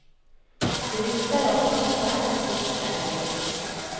Det lukter av kaffe og kokte egg.